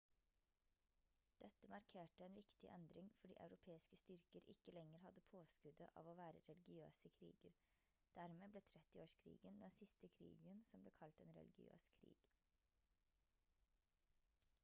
dette markerte en viktig endring fordi europeiske styrker ikke lenger hadde påskuddet av å være religiøse kriger dermed ble 30-årskrigen den siste krigen som ble kalt en religiøs krig